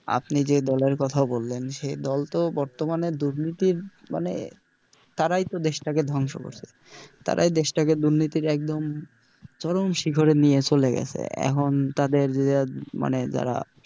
আপনি যে দলের কথা বললেন সে দল তো বর্তমানে দুর্নীতির মানে তারাই তো দেশটাকে ধ্বংস করছে তারাই দেশটাকে দুর্নীতির একদম চরম শিখরে নিয়ে চলে গেছে, এখন তাদের যে মানে যারা,